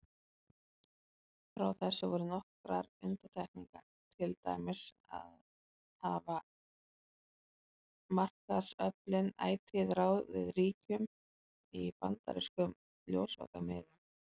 Frá þessu voru nokkrar undantekningar, til dæmis hafa markaðsöflin ætíð ráðið ríkjum í bandarískum ljósvakamiðlum.